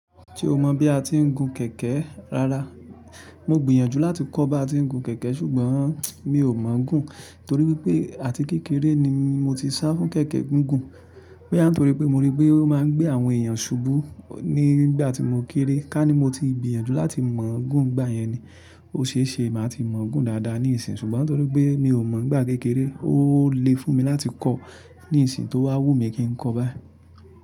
Tí ò mọ̀ bí a ti ń gun kẹ̀kẹ́ rárá. Mo gbìyànjú láti kọ́ bá ti ń gun kẹ̀kẹ́ ṣùgbọ́n mi ò mọ̀ ọ́ gún. Tórí pé àti kékeré ni mo ti ṣá fún kẹ̀kẹ́ gún gùn. Bóyá n tórí pé mo rí pé ó máa ń gbé àwọn èèyàn ṣùbú nígbà tí mo kéré. Ká ní mo ti gbìyànjú láti mọ̀ gún ń gbà yẹn ni. Ó ṣe é ṣe màá ti mọ̀ gún dáadáa nísìn ṣùgbọ́n tórí pé mi ò mọ̀ n gbá kékeré, ó le fún mi láti kọ́ nísìn tó wá wù mí kí ń kọ́ báá.